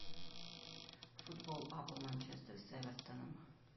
футбол апл манчестер с эвертоном